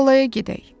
Tallaya gedək.